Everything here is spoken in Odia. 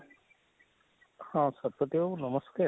ହଁ ଶତପତି ବାବୁ ନମସ୍କାର,